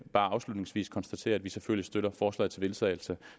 bare afslutningsvis konstatere at vi selvfølgelig støtter det forslag til vedtagelse